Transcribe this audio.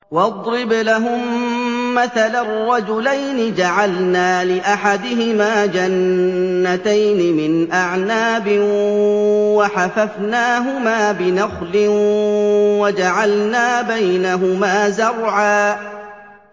۞ وَاضْرِبْ لَهُم مَّثَلًا رَّجُلَيْنِ جَعَلْنَا لِأَحَدِهِمَا جَنَّتَيْنِ مِنْ أَعْنَابٍ وَحَفَفْنَاهُمَا بِنَخْلٍ وَجَعَلْنَا بَيْنَهُمَا زَرْعًا